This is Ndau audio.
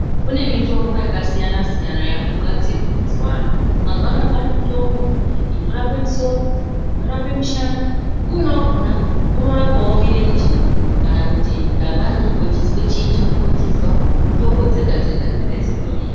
Kune mitombo yakasiyana siyana yakugadzirwa muzuva anaya. Mazuva anaya kwaane mitombo inorape misoro inorape mishana umweni wakona unorapawo murenje kana kuti dangani unenge uchinzwa chiini change uchinzwa mitombo dzega dzega dzinenge dziriyo.